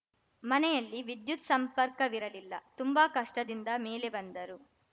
ಮನೆಯಲ್ಲಿ ವಿದ್ಯುತ್‌ ಸಂಪರ್ಕವಿರಲಿಲ್ಲ ತುಂಬಾ ಕಷ್ಟದಿಂದ ಮೇಲೆ ಬಂದರು